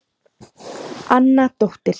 Anna dóttir